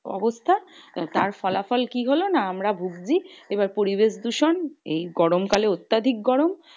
অবস্থা। তার ফলাফল কি হলো? না আমরা ভুগছি এবার পরিবেশ দূষণ এই গরমকালে অত্যাধিক গরম।